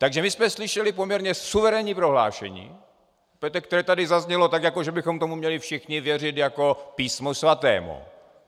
Takže my jsme slyšeli poměrně suverénní prohlášení, které tady zaznělo tak, jako že bychom tomu měli všichni věřit jako Písmu svatému.